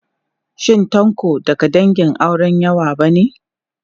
Shin Tanko daga dangin auren yawa ba ne?